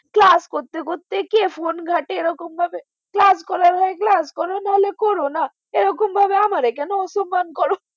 class করতে করতে কেউ phone ঘাটে এরমভাবে class করার সময় class করো নাহলে class করো না এরকম করে আমাকে কেন অসম্মান কর